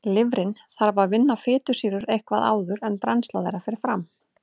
Lifrin þarf að vinna fitusýrur eitthvað áður en brennsla þeirra fer fram.